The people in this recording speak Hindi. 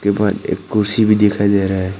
एक कुर्सी भी दिखाई दे रहा है।